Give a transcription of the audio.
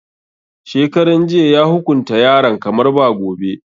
Shekaran jiya ya hukunta yaran kamar ba gobe.